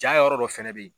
Ja yɔrɔ dɔ fɛnɛ be yen